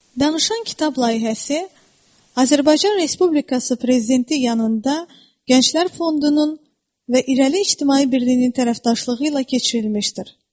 Danışan kitab layihəsi Azərbaycan Respublikası prezidenti yanında Gənclər Fondunun və İrəli İctimai Birliyinin tərəfdaşlığı ilə keçirilmişdir.